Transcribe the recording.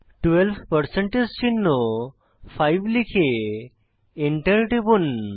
12 percentage চিহ্ন 5 লিখে enter টিপুন